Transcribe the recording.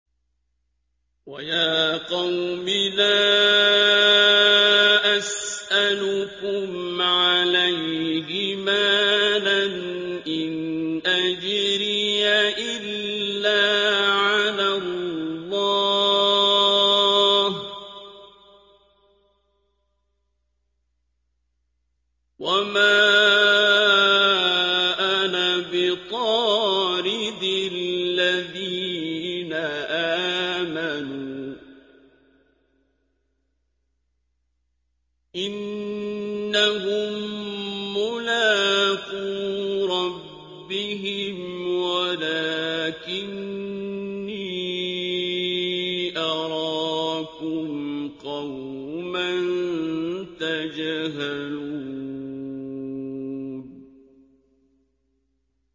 وَيَا قَوْمِ لَا أَسْأَلُكُمْ عَلَيْهِ مَالًا ۖ إِنْ أَجْرِيَ إِلَّا عَلَى اللَّهِ ۚ وَمَا أَنَا بِطَارِدِ الَّذِينَ آمَنُوا ۚ إِنَّهُم مُّلَاقُو رَبِّهِمْ وَلَٰكِنِّي أَرَاكُمْ قَوْمًا تَجْهَلُونَ